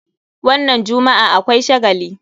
Wannan jummu'a akwai shagali.